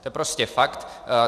To je prostě fakt.